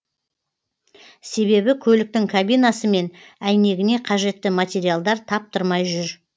себебі көліктің кабинасы мен әйнегіне қажетті материалдар таптырмай жүр